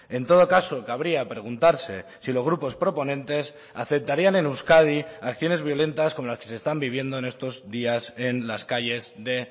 en todo caso cabría preguntarse si los grupos proponentes aceptarían en euskadi acciones violentas como las que se están viviendo en estos días en las calles de